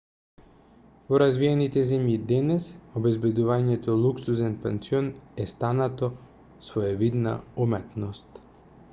во развиените земји денес обезбедувањето луксузен пансион е станато своевидна уметност